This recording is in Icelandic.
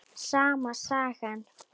Sama sagan.